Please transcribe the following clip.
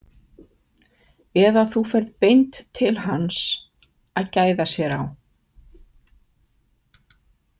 Eða þú ferð beint til hans að gæða sér á.